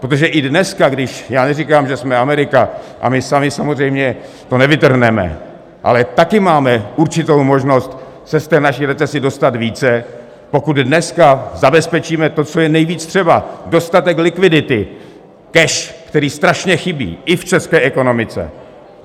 Protože i dneska, když - já neříkám, že jsme Amerika, a my sami samozřejmě to nevytrhneme, ale taky máme určitou možnost se z té naší recese dostat více, pokud dneska zabezpečíme to, co je nejvíc třeba: dostatek likvidity, cash, který strašně chybí, i v české ekonomice.